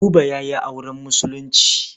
Buba ya yi auren Musulunci.